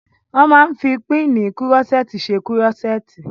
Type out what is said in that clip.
Wọ́n máa n fi pínnìì kúrọ́sẹ́ẹ̀tì ṣe kúrọ́sẹ́ẹ̀tì